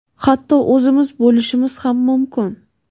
hatto o‘zimiz bo‘lishimiz ham mumkin.